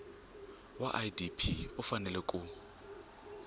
wa idp u fanele ku